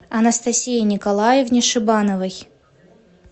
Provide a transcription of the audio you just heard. анастасии николаевне шибановой